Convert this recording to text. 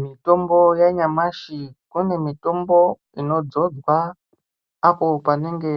Mitombo ya nyamashi kwane mitombo ino dzodzwa apo panenge